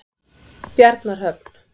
Bjarnarhöfn